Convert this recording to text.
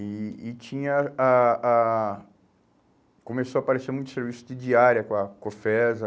E e tinha a a... Começou a aparecer muito serviço de diária com a Cofesa.